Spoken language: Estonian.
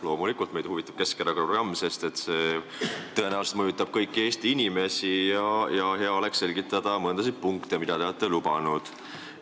Loomulikult meid huvitab Keskerakonna programm, sest see tõenäoliselt mõjutab kõiki Eesti inimesi ja hea oleks selgitada mõnda punkti, mida te olete lubanud.